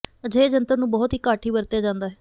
ਅਜਿਹੇ ਜੰਤਰ ਨੂੰ ਬਹੁਤ ਹੀ ਘੱਟ ਹੀ ਵਰਤਿਆ ਜਾਦਾ ਹੈ